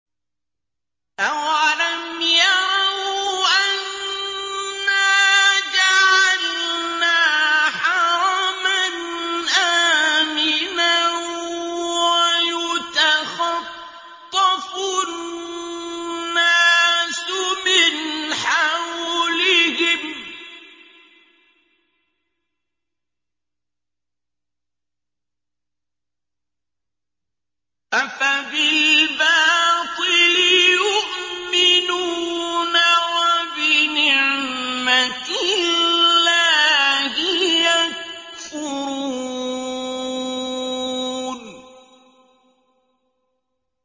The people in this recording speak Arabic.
أَوَلَمْ يَرَوْا أَنَّا جَعَلْنَا حَرَمًا آمِنًا وَيُتَخَطَّفُ النَّاسُ مِنْ حَوْلِهِمْ ۚ أَفَبِالْبَاطِلِ يُؤْمِنُونَ وَبِنِعْمَةِ اللَّهِ يَكْفُرُونَ